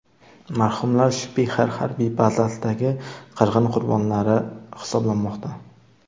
Marhumlar Shpixer harbiy bazasidagi qirg‘in qurbonlari hisoblanmoqda.